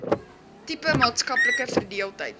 diepe maatskaplike verdeeldheid